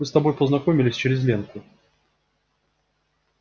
мы с тобой познакомились через ленку